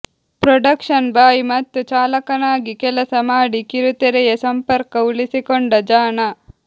production boy ಮತ್ತು ಚಾಲಕನಾಗಿ ಕೆಲಸ ಮಾಡಿ ಕಿರುತೆರೆಯ ಸಂಪರ್ಕ ಉಳಿಸಿಕೊಂಡ ಜಾಣ